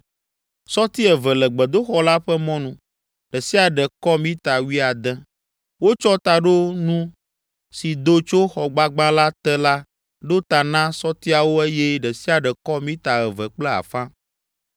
Sɔti eve le gbedoxɔ la ƒe mɔnu. Ɖe sia ɖe kɔ mita wuiade. Wotsɔ taɖonu si do tso xɔgbagba la te la ɖo ta na sɔtiawo eye ɖe sia ɖe kɔ mita eve kple afã.